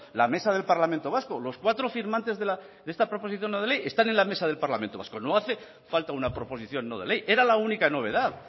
la mesa del parlamento vasco los cuatro firmantes de esta proposición no de ley están en la mesa del parlamento vasco no hace falta una proposición no de ley era la única novedad